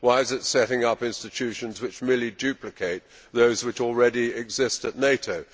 Why is it setting up institutions which merely duplicate those which already exist at NATO?